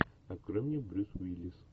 открой мне брюс уиллис